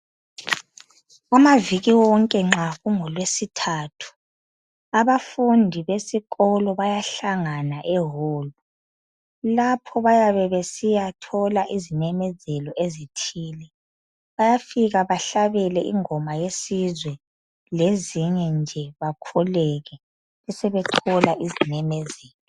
Amaviki wonke nxa kungolwesithathu abafundi besikolobayahlangana ehall lapho bayabe besiyathola izimemezelo ezithile bayafika bahlabele ingoma yesizwe lezinye nje bakhuleke besebethola izimemezelo.